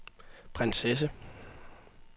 prinsesse